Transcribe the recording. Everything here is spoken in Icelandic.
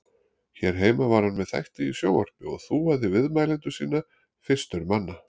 Hér heima var hann með þætti í sjónvarpi og þúaði viðmælendur sína fyrstur manna.